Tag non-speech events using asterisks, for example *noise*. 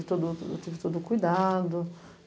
*unintelligible* todo, eu tive todo o cuidado.